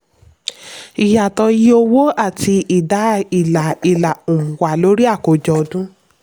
ìyàtọ̀ iye owó àti ìdá ilà ilà um wà lórí àkójọ ọdún.